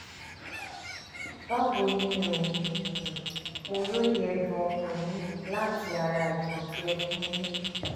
báwo ni o? mo róye ẹ̀dùn-ọkàn yín láti ara ìtàn tí ẹ fún mi níbi